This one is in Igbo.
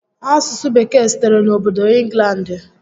Asụsụ Bekee sitere n'obodo Ịnglandị